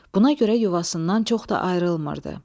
Buna görə yuvasından çox da ayrılmırdı.